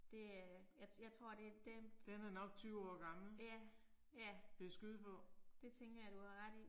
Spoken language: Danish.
Det øh. Jeg jeg tror det den. Ja, ja. Det tænker jeg du har ret i